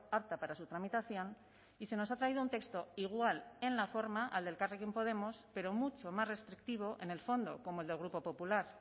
apta para su tramitación y se nos ha traído un texto igual en la forma al de elkarrekin podemos pero mucho más restrictivo en el fondo como el del grupo popular